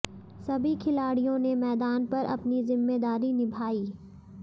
सभी खिलाड़ियों ने मैदान पर अपनी जिम्मेदारी निभाई